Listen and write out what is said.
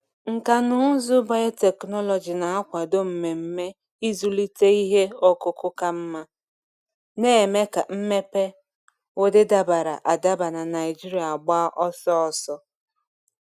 Nkà na ụzụ biotechnology na-akwado mmemme ịzụlite ihe ọkụkụ ka mma, na-eme ka mmepe ụdị dabara adaba na Naijiria gba ọsọ ọsọ.